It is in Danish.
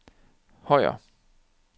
Højer